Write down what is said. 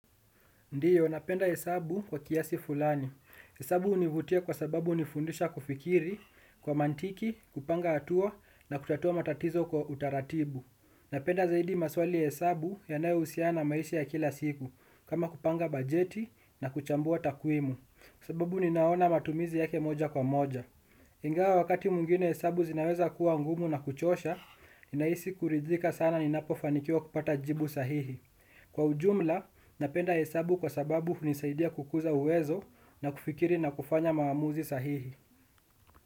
Ndiyo, napenda hesabu kwa kiasi fulani. Hesabu hunivutia kwa sababu hunifundisha kufikiri, kwa mantiki, kupanga hatua na kutatua matatizo kwa utaratibu. Napenda zaidi maswali ya hesabu yanayohusiana na maisha ya kila siku, kama kupanga bajeti na kuchambua takwimu. Sababu ninaona matumizi yake moja kwa moja. Ingawa wakati mwingine hesabu zinaweza kuwa ngumu na kuchosha, ninahisi kuridhika sana ninapofanikiwa kupata jibu sahihi. Kwa ujumla, napenda hesabu kwa sababu hunisaidia kukuza uwezo na kufikiri na kufanya maamuzi sahihi.